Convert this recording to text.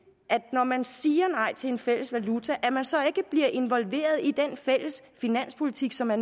når man siger nej til en fælles valuta at man så ikke bliver involveret i den fælles finanspolitik som er